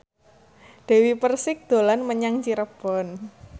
Dewi Persik dolan menyang Cirebon